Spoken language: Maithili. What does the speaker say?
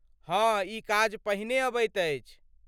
हँ, ई काज पहिने अबैत अछि।